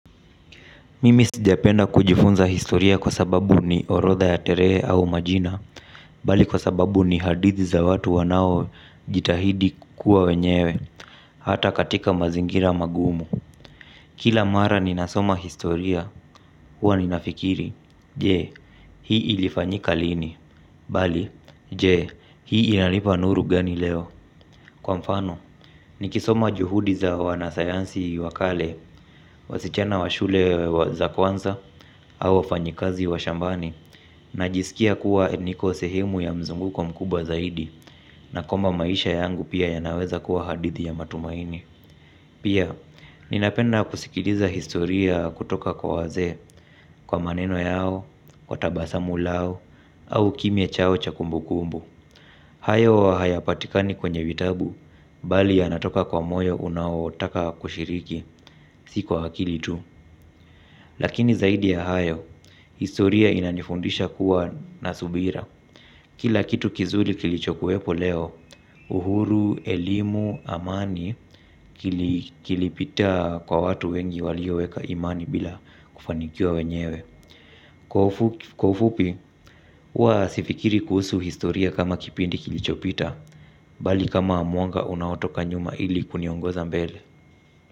Mimi sijapenda kujifunza historia kwa sababu ni orotha ya tarehe au majina, bali kwa sababu ni hadithi za watu wanao jitahidi kuwa wenyewe, hata katika mazingira magumu. Kila mara ninasoma historia, huwa ninafikiri, je, hii ilifanyika lini, bali, je, hii inalipa nuru gani leo. Kwa mfano, nikisoma juhudi za wanasayansi wakale, wasichana wa shule za kwanza, au wafanyikazi wa shambani najisikia kuwa niko sehemu ya mzunguko mkubwa zaidi, na kwamba maisha yangu pia yanaweza kuwa hadithi ya matumaini. Pia, ninapenda kusikidiza historia kutoka kwa wazee kwa maneno yao, kwa tabasamu lao, au kimya chao cha kumbukumbu. Hayo hayapatikani kwenye vitabu, bali yanatoka kwa moyo unaotaka kushiriki, si kwa akili tu. Lakini zaidi ya hayo, historia inanifundisha kuwa na subira. Kila kitu kizuri kilicho kuwepo leo, uhuru, elimu, amani kilipita kwa watu wengi walioweka imani bila kufanikiwa wenyewe. Kwa ufupi, huwa sifikiri kuhusu historia kama kipindi kilicho pita, bali kama mwanga unaotoka nyuma ili kuniongoza mbele.